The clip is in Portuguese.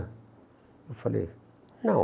Eu falei, não.